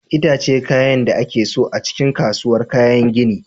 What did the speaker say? Itace kayan da ake son a cikin kasuwar kayan gini.